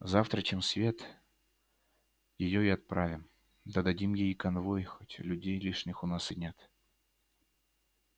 завтра чем свет её и отправим да дадим ей и конвой хоть людей лишних у нас и нет